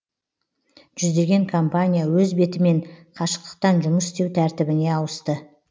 жүздеген компания өз бетімен қашықтықтан жұмыс істеу тәртібіне ауысты